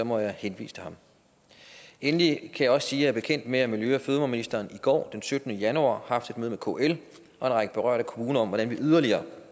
må jeg henvise til ham endelig kan jeg også sige er bekendt med at miljø og fødevareministeren i går den syttende januar har haft et møde med kl og en række berørte kommuner om hvordan vi yderligere